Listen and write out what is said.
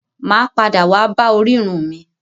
Mà á padà wá bá orírun mi.